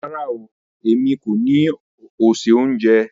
Rárá ooo, èmi kọ́ ni o se ohunjẹ.